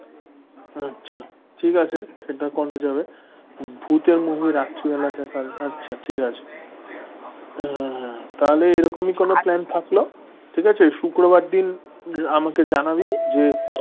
আচ্ছা ঠিক আছে সেটা করা যাবে, ভূতের movie রাত্রিবেলায় দেখা আচ্ছা ঠিক আছে হম তাহলে এরকমই কোন plan থাকলো ঠিক আছে শুক্রবার দিন আমাকে জানাবি যে?